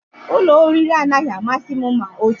Ụlọ oriri anaghị amasị m ma otu